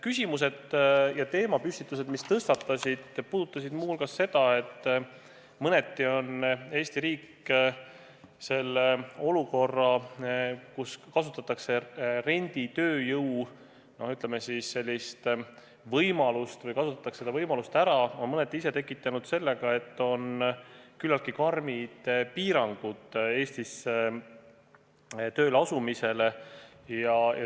Küsimused ja teemapüstitused puudutasid muu hulgas seda, et mõneti on Eesti riik selle olukorra, kus kasutatakse renditööjõuga seotud erinevaid võimalusi, mõneti ise tekitanud sellega, et on küllaltki karmid piirangud Eestisse tööle asumisele.